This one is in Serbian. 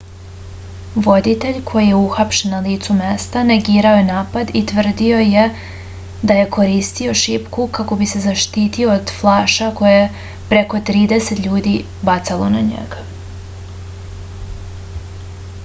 voditelj koji je uhapšen na licu mesta negirao je napad i tvrdio je da je koristio šipku kako bi se zaštitio od flaša koje je preko trideset ljudi bacalo na njega